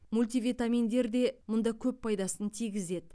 мультивитаминдер де мұнда көп пайдасын тигізеді